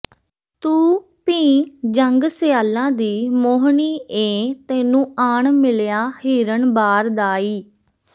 ਤੂੰ ਭੀ ਝੰਗ ਸਿਆਲਾਂ ਦੀ ਮੋਹਣੀ ਏਂ ਤੈਨੂੰ ਆਣ ਮਿਲਿਆ ਹਿਰਨ ਬਾਰ ਦਾ ਈ